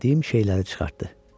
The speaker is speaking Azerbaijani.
və itirdiyim şeyləri çıxartdı.